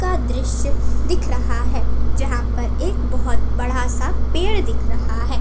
का दृश्य दिख रहा है जहा पर एक बहुत बड़ा सा पेड दिख रहा है।